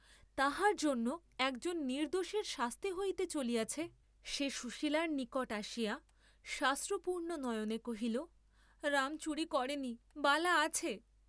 তাহার জন্য একজন নির্দ্দোষীর শাস্তি হইতে চলিয়াছে, সে সুশীলার নিকট আসিয়া সাশ্রুপূর্ণ নয়নে কহিল রাম চুরি করে নি, বালা আছে।